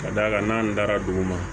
Ka d'a kan n'an dara dugu ma